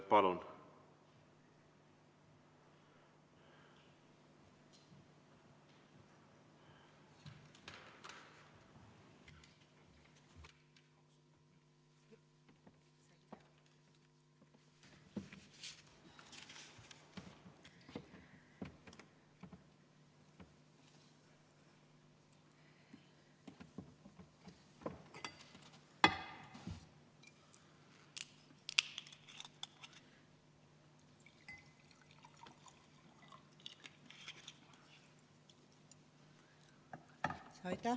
Palun!